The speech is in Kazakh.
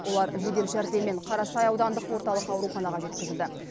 олар жедел жәрдеммен қарасай аудандық орталық ауруханаға жеткізілді